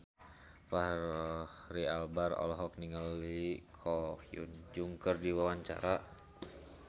Fachri Albar olohok ningali Ko Hyun Jung keur diwawancara